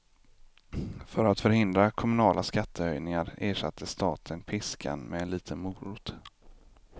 För att förhindra kommunala skattehöjningar ersatte staten piskan med en liten morot.